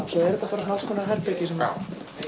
svo eru þetta bara alls konar herbergi sem